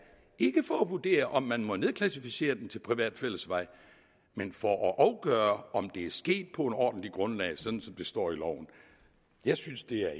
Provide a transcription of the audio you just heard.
ikke for at vurdere om man må nedklassificere den til privat fællesvej men for at afgøre om det er sket på et ordentligt grundlag sådan som det står i loven jeg synes det er